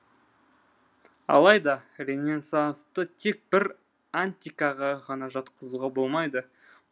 алайда ренессансты тек бір антикаға ғана жатқызуға болмайды